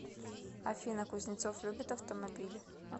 афина кузнецов любит автомобили